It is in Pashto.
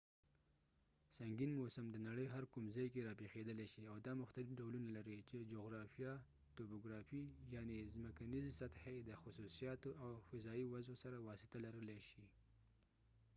سنګین موسم د نړۍ هر کوم ځای کې راپېښېدلی شي او دا مختلف ډولونه لري چې جغرافیه توپوګرافي یعني زمکنیزې سطحې د خصوصیاتو او فضايي وضعو سره واسطه لرلې شي